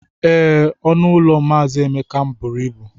Ee, ọnụ ụlọ mazi Emeka buru ibu.